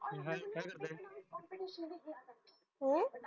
काय म्हणतंय हम्म